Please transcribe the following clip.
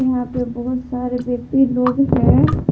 यहां पे बहुत सारे व्यक्ति लोग हैं।